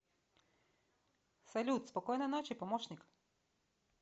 салют спокойной ночи помощник